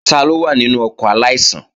Taló wà nínú ọkọ̀ aláìsàn?